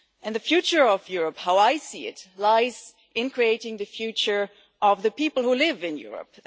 The future of Europe, as I see it, lies in creating the future of the people who live in Europe.